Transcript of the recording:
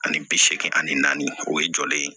Ani bi seegin ani naani o ye jɔlen ye